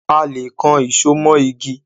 A le kan ìṣo mó igi.